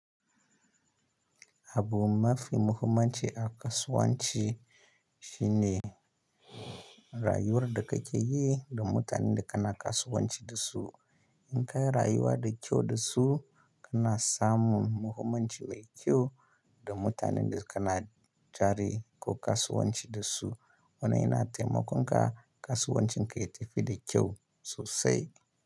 Abu mafi muhimmanci a kasuwanci shine rayuwar da kake yi da mutanen da kana kasuwanci da su. In ka yi rayuwa da kyau da su, kana samun muhimmanci mai kyau da mutanen da kana jari ko kasuwanci da su. Wannan yana taimakon ka kasuwancin ka ya tafi da kyau sosai.